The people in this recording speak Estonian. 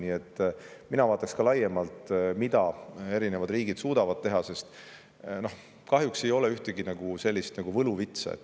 Nii et mina vaataksin ka laiemalt, mida eri riigid suudavad teha, sest kahjuks ei ole olemas ühtegi võluvitsa.